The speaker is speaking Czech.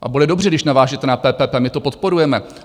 A bude dobře, když navážete na PPP, my to podporujeme.